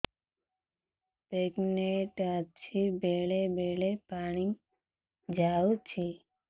pregnant ଅଛି ବେଳେ ବେଳେ ପାଣି ଯାଉଛି